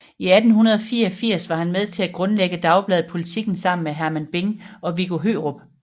I 1884 var han med til at grundlægge dagbladet Politiken sammen med Hermann Bing og Viggo Hørup